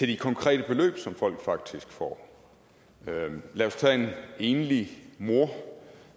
de konkrete beløb som folk faktisk får lad os tage en enlig mor